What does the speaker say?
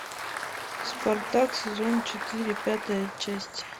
спартак сезон четыре пятая часть